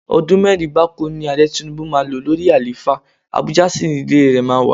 Ọdún mẹ́rin gbáko ni Ààrẹ Tinubu máa lò lórí àlééfà, Abuja sì ni ilé rẹ máa wà.